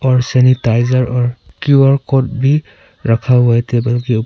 और सैनिटाइजर और Q R code भी रखा हुआ है टेबल के ऊपर।